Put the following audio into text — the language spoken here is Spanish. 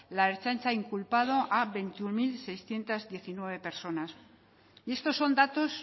la ertzaintza ha inculpado a veintiuno mil seiscientos diecinueve personas y estos son datos